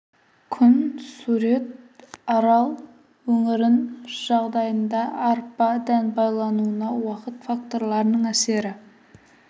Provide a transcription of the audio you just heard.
күн сурет арал өңірін жағдайында арпа дән байлануына уақыт факторларының әсері